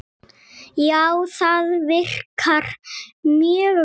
Já, það virkar mjög vel.